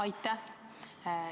Aitäh!